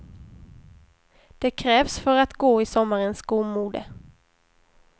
Det krävs för att gå i sommarens skomode.